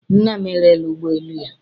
Nna m erela ụgbọ elu ya